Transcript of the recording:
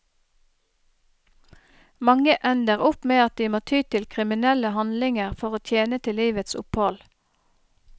Mange ender opp med at de må ty til kriminelle handlinger for å tjene til livets opphold.